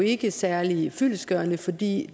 ikke er særlig fyldestgørende fordi